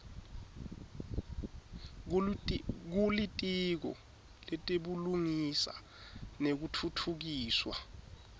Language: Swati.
kulitiko letebulungisa nekutfutfukiswa